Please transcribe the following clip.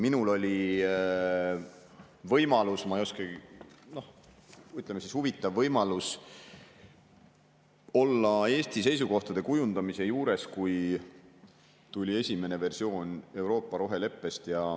Minul oli võimalus, ütleme, huvitav võimalus olla Eesti seisukohtade kujundamise juures, kui tuli esimene versioon Euroopa roheleppest.